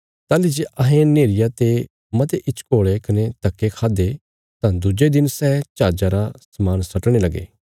ताहली जे अहें नेहरिया ते मते हिचकोल़े कने धक्के खादे तां दुज्जे दिन सै जहाजा रा समान सटणे लगे